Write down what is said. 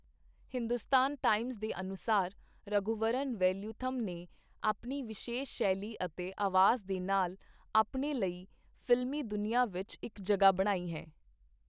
Hindustan Times ਦੇ ਅਨੁਸਾਰ, 'ਰਘੁਵਰਨ ਵੇਲਯੁਥਮ ਨੇ ਆਪਣੀ ਵਿਸ਼ੇਸ਼ ਸ਼ੈਲੀ ਅਤੇ ਆਵਾਜ਼ ਦੇ ਨਾਲ ਆਪਣੇ ਲਈ ਫ਼ਿਲਮੀ ਦੁਨੀਆਂ ਵਿੱਚ ਇੱਕ ਜਗ੍ਹਾ ਬਣਾਈ ਸੀ।